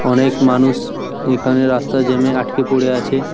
অনেক মানুষ এখানে রাস্তার জ্যাম -এ আটকে পরে আছে।